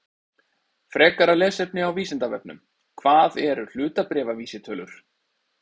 Frekara lesefni á Vísindavefnum: Hvað eru hlutabréfavísitölur?